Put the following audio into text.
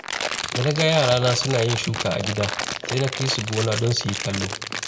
Da na ga yarana suna yin shuka a gida, sai na kai su gona don su yi kallo.